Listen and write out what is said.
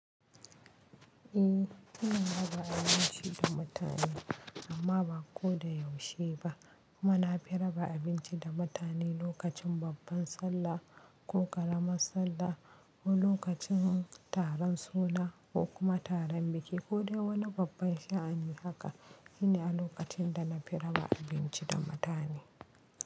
Eh ina raba nishi da mutane amma ba ko da yaushe ba kuma na fi raba abinci da mutane lokacin babban sallah ko ƙaramar sallah ko lokacin taron suna ko kuma taron biki ko dai wani babban sha'ani haka shine a lokacin da na fi raba abinci da mutane.